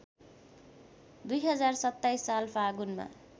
२०२७ साल फागुनमा